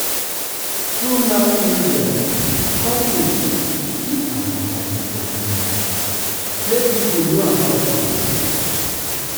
through mass media companies fit advertise their product make people know about am.